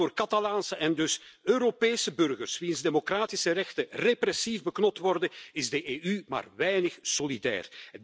Maar voor Catalaanse en dus Europese burgers, wier democratische rechten repressief beknot worden, is de EU maar weinig solidair.